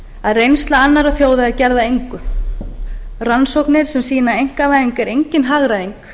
að reynsla annarra þjóða er gerð að engu rannsóknir sýna að einkavæðing er engin hagræðing